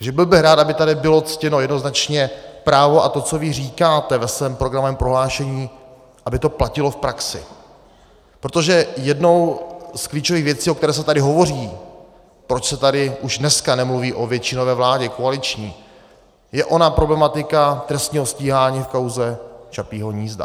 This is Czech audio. Takže byl bych rád, aby tady bylo ctěno jednoznačně právo a to, co vy říkáte ve svém programovém prohlášení, aby to platilo v praxi, protože jednou z klíčových věcí, o které se tady hovoří, proč se tady už dneska nemluví o většinové vládě koaliční, je ona problematika trestního stíhání v kauze Čapího hnízda.